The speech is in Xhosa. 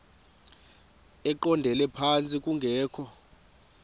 eqondele phantsi kungekho